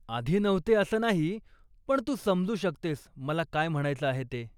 आधी नव्हते असं नाही, पण तू समजू शकतेस मला काय म्हणायचं आहे ते.